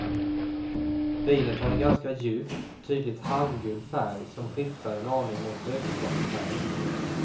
Vinet har en ganska djup, tydligt halmgul färg som skiftar en aning mot lökskalsfärg.